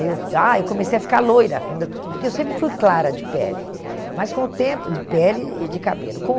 Eu. Ah, eu comecei a ficar loira quando eu, porque eu sempre fui clara de pele, mas com o tempo, de pele e de cabelo.